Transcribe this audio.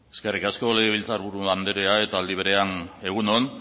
eskerrik asko legebiltzar buru andrea eta librean egun on